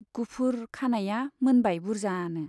गुफुर , खानाइया मोनबाय बुर्जानो।